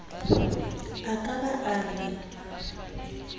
a ka ba a re